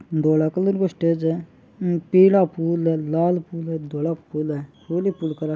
धोला कलर को स्टेज है पीला फूल है लाल फूल है धोला फूल है फूल ही फूल --